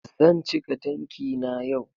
Zan cika tanki na yau